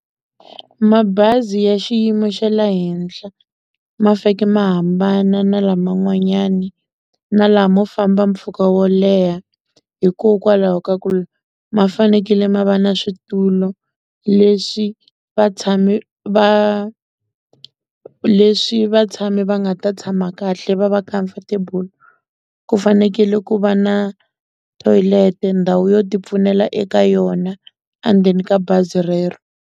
Mabazi ya xiyimo xa le henhla ma faneke ma hambana na laman'wanyani na lama mo famba mpfhuka wo leha hikokwalaho ka ku ma fanekele ma va na switulu leswi vatshami va leswi vatshami va nga ta tshama kahle va va comfortable ku fanekele ku va na toilet ndhawu yo ti pfunela eka yona endzeni ka bazi rero.